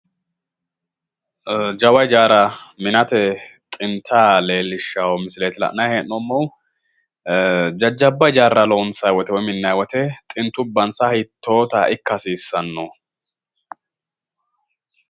Ee jawa hijaara minate xinta leellishshawo misileeti la'nayi hee'noommohu, jajjabba hijaarra loonsayi woyi minnayi wote xintubbansa hiitoota ikka hasiissanno?